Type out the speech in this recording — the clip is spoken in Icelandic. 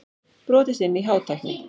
Brotist inn í Hátækni